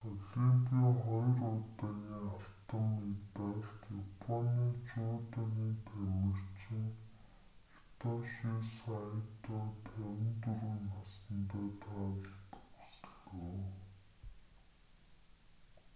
олимпийн хоёр удаагийн алтан медалт японы жүдогийн тамирчин хитоши сайто 54 насандаа таалал төгслөө